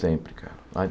Sempre, cara.